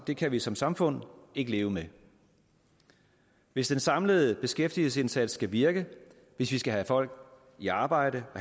det kan vi som samfund ikke leve med hvis den samlede beskæftigelsesindsats skal virke hvis vi skal have folk i arbejde og